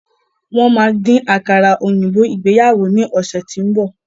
Wọ́n má dín àkàrà òyìnbó ìgbéyàwó ni ọ̀sẹ̀ tín bọ̀.